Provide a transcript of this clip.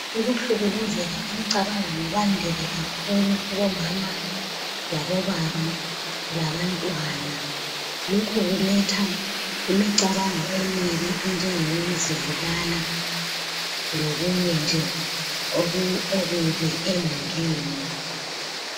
Ukuhlukuluzeka emcabangweni kwande ke kubomama labobaba labantwana. Lokhu kuletha imicabango emini enjengokuzibulala lokunye nje okubi emulini.